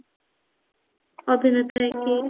ଅଭିନେତା ହେଇକି